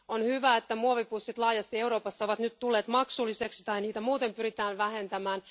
On hyvä, että muovipussit laajasti Euroopassa ovat nyt tulleet maksulliseksi tai että niitä muuten pyritään vähentämään.